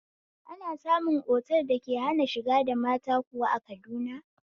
Ana samu otal da ke hana shiga da mata kuwa a Kaduna?